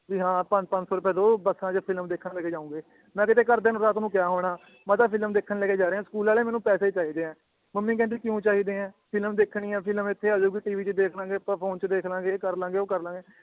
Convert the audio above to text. ਵੀ ਹਾਂ ਪੰਜ ਪੰਜ ਸੌ ਰੁਪਏ ਦੋ ਬੱਸਾਂ ਚ film ਦੇਖਣ ਲੈਕੇ ਜਾਉਂਗੇ ਮੈ ਕੀਤੇ ਘਰਦਿਆਂ ਨੂੰ ਰਾਤ ਨੂੰ ਕਿਆ ਹੋਣਾ ਮੈ ਕਾ film ਦੇਖਣ ਲੈਕੇ ਜਾਰੇ ਏ ਮੈਨੂੰ ਸਕੂਲ ਵਾਲੇ ਪੈਸੇ ਚਾਹੀਦੇ ਏ ਮਮ੍ਮੀ ਕਹਿੰਦੀ ਕਿਊ ਚਾਹੀਦੇ ਏ film ਦੇਖਣੀ ਏ film ਇਥੇ ਆਜੁਗੀ ਤ ਚ ਦੇਖ ਲੈਣਗੇ ਆਪਾਂ ਫੋਨ ਚ ਦੇਖਲਾਂਗੇ ਇਹ ਕਰਲਾਂਗੇ ਉਹ ਕਰਲਾਂਗੇ